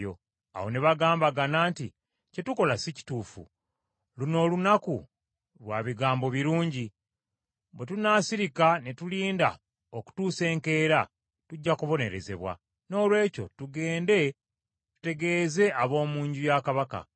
Awo ne bagambagana nti, “Kye tukola si kituufu. Luno olunaku lwa bigambo birungi; bwe tunaasirika ne tulinda okutuusa enkya, tujja kubonerezebwa. Noolwekyo tugende tutegeeze ab’omu nju ya kabaka.”